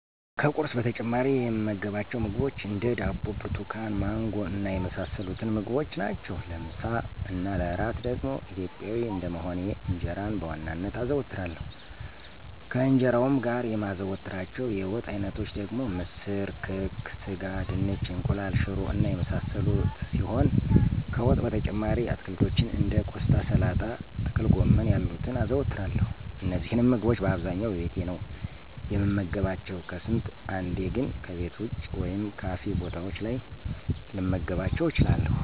ከቁርስ በተጨማሪ የምመገባቸው ምግቦች እንደ፦ ዳቦ፣ ብርቱካን፣ ማንጎ እና የመሳሰሉትን ምግቦች ናቸው። ለምሳ እና ለእራት ደግሞ ኢትዮጵያዊ እንደመሆኔ እንጀራን በዋናነት አዘወትራለሁ፤ ከእንጀራውም ጋር የማዘወትራቸው የወጥ አይነቶች ደግሞ ምስር፣ ክክ፣ ስጋ፣ ድንች፣ እንቁላል፣ ሽሮ እና የመሳሰሉት ሲሆኑ ከወጥ በተጨማሪም አትክልቶችን እንደ ቆስጣ፣ ሰላጣ፣ ጥቅልጎመን ያሉትን አዘወትራለሁ። እነዚህንም ምግቦች በአብዛኛው በቤቴ ነው የምመገባቸው፤ ከስንት አንዴ ግን ከቤት ወጭ ወይም ካፌ ቦታዎች ላይ ልመገባቸው እችላለሁ።